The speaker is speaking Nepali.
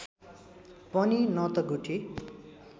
पनि न त गुठी